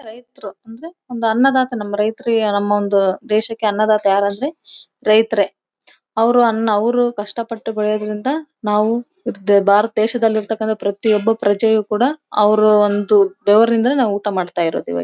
ರೈತರು ಅಂದ್ರೆ ಅನ್ನ ದಾತಾ ನಮ್ಮ ರೈತರು ನಮ್ಮದೇಶಕ್ಕೆ ಅನ್ನದಾತ ಅಂದ್ರೆ ರೈತರೇ ಅವ್ರು ಅನ್ನ ಅವ್ರು ಕಷ್ಟಪಟ್ಟು ಬೆಳೆಯೋದ್ರಿಂದ ನಾವು ಭಾರತ ದೇಶದಲ್ಲಿಇರ್ತಕ್ಕಂತವರು ಪ್ರತಿಯೊಬ್ಬ ಪ್ರಜೆಯು ಕೂಡ ಅವ್ರ ಒಂದು ಬೆವರಿಂದ ನೇ ಊಟ ಮಾಡ್ತಾ ಇರೋದು ಇವಾಗ .